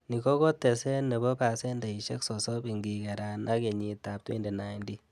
Ni ko koteset nebo pasendeisiek sosom ingigeran ak kenyitab 2019.